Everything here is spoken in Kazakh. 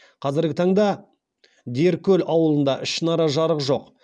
қазіргі таңда деркөл ауылында ішінара жарық жоқ